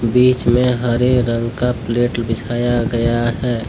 बीच में हरे रंग का प्लेट बिछाया गया है।